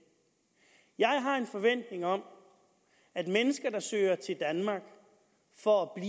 jeg har en forventning om at mennesker der søger til danmark for at